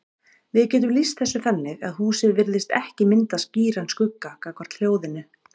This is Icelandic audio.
Við getum lýst þessu þannig að húsið virðist ekki mynda skýran skugga gagnvart hljóðinu.